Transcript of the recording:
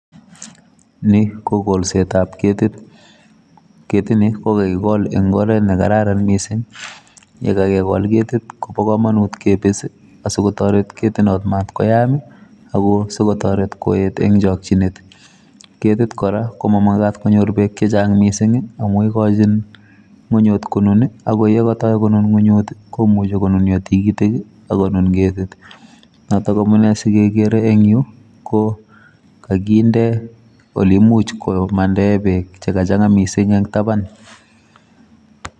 Ni ko golsetab ketit. Ketit ni, ko kakigol eng' oret ne kararan missing. Yekakegol ketit, kobo komonut kebis, asikotoret ketit not matkoyaam. Ako sikotoret koet eng' chakchinet. Ketit kora, komamakat konyor beek chechang' missing, amu ikochin ng'unyut konun. Ago yekatoi konun ng'unyut, komuchi konunio tigitik, akonun ketit. Notok amunee sikegere eng' yuu, ko kakinde ole imuch komandae beek che kachang'a missing eng' taban.